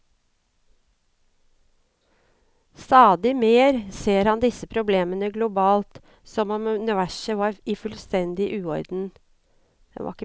Stadig mer ser han disse problemene globalt, som om universet var i fullstendig uorden.